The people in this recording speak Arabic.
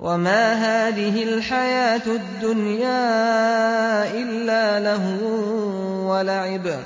وَمَا هَٰذِهِ الْحَيَاةُ الدُّنْيَا إِلَّا لَهْوٌ وَلَعِبٌ ۚ